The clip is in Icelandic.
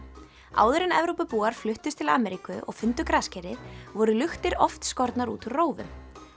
áður en Evrópubúar fluttust til Ameríku og fundu graskerið voru luktir oft skornar út úr rófum